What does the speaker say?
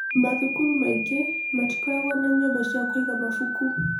Mathukuru maingĩ matikoragwo na nyumba cia kũiga mabuku.